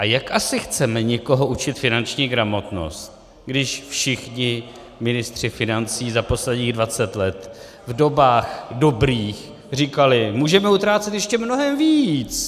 A jak asi chceme někoho učit finanční gramotnost, když všichni ministři financí za posledních 20 let v dobách dobrých říkali "můžeme utrácet ještě mnohem víc"?